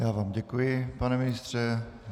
Já vám děkuji, pane ministře.